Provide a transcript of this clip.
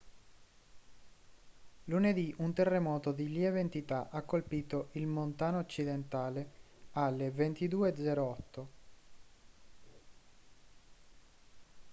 lunedì un terremoto di lieve entità ha colpito il montana occidentale alle 22:08